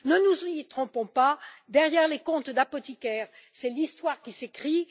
Ne nous y trompons pas, derrière les comptes d'apothicaire, c'est l'histoire qui s'écrit.